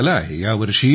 patent झालं आहे